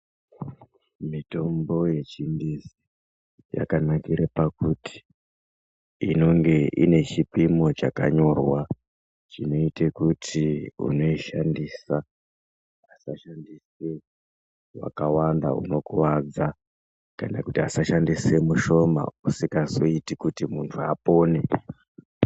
Mitombo yechingezi yakanakira pakuti inonga ine chipimo chakanyorwa chinoita kuti unoishandisa asashandisa vakawanda vanokuwadza kana kuti asashandisa mushoma usingazoiti kuti muntu apone.